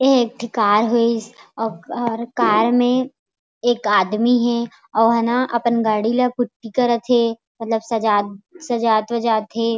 ये एक ठो कार हे और कार में एक आदमी हे अउ ओ ह ना अपन गाड़ी ला पुटी करत थे मतलब सजा सजात - वाजत थे।